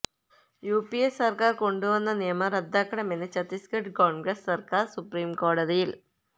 UPA സര്ക്കാര് കൊണ്ടുവന്ന നിയമം റദ്ദാക്കണമെന്ന് ചത്തീസ്ഗഢ് കോണ്ഗ്രസ് സര്ക്കാര് സുപ്രിംകോടതിയില്